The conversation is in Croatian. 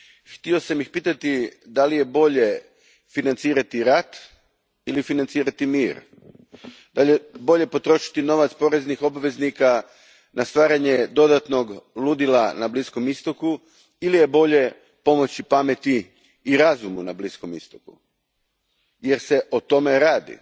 Htio sam ih pitati je li bolje financirati rat ili financirati mir, je li bolje potrošiti novac poreznih obveznika na stvaranje dodatnog ludila na Bliskom istoku ili je bolje pomoći pameti i razumu na Bliskom istoku, jer se o tome radi.